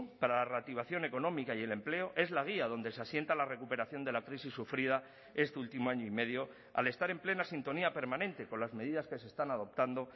para la reactivación económica y el empleo es la guía donde se asienta la recuperación de la crisis sufrida este último año y medio al estar en plena sintonía permanente con las medidas que se están adoptando